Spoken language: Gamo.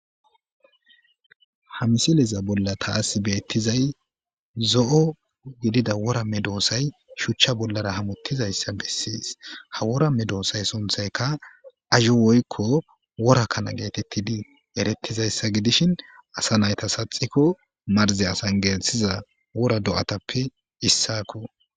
hamisileza bolla taasi beettizay zo7o gidida woramme doosay shuchcha bollara hamuttizayssa bessiis ha woramme doosay sunthayka azo woykko wora kana geetettidi erettizayssa gidishin asa nayta saxikko marze asan geeltiza wora do7atappe issaako